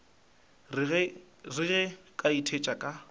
re ge ke itshetšha ka